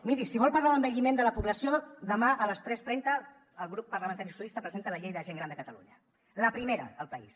miri si vol parlar d’envelliment de la població demà a les tres trenta el grup parlamentari socialistes presenta la llei de la gent gran de catalunya la primera al país